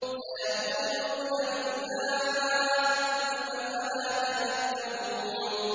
سَيَقُولُونَ لِلَّهِ ۚ قُلْ أَفَلَا تَذَكَّرُونَ